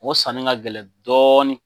O sanni ka gɛlɛn dɔɔni.